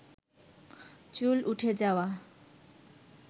চুল উঠে যাওয়া